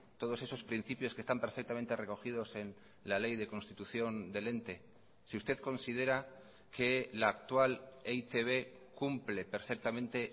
todos esos principios que están perfectamente recogidos en la ley de constitución del ente si usted considera que la actual e i te be cumple perfectamente